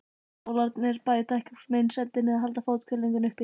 Sólarnir bæta ekki úr meinsemdinni en halda fóthvelfingunni uppi.